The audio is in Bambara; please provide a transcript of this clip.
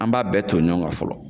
An b'a bɛɛ ton ɲɔn kan fɔlɔ